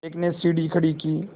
एक ने सीढ़ी खड़ी की